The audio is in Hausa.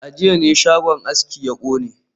A jiya ne shagon aski ya kone